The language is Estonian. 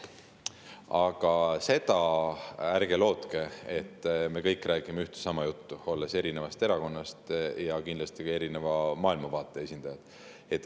Aga seda ärge lootke, et me kõik räägime ühte ja sama juttu, olles erinevatest erakondadest ja kindlasti ka erineva maailmavaate esindajad.